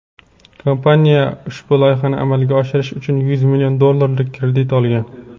kompaniya ushbu loyihani amalga oshirish uchun yuz million dollarlik kredit olgan.